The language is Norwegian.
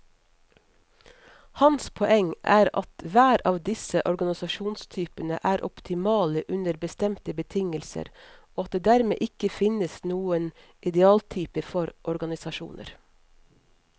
Hans poeng er at hver av disse organisasjonstypene er optimale under bestemte betingelser, og at det dermed ikke finnes noen idealtype for organisasjoner.